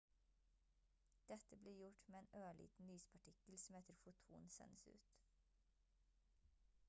dette blir gjort med en ørliten lyspartikkel som heter «foton» sendes ut